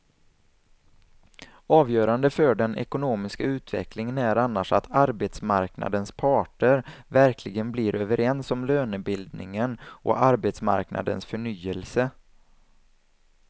Avgörande för den ekonomiska utvecklingen är annars att arbetsmarknadens parter verkligen blir överens om lönebildningen och arbetsmarknadens förnyelse.